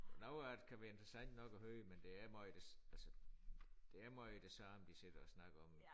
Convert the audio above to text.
Noget af det kan være interessant nok at høre men det er måj det altså det er måj det samme de sidder og snakker om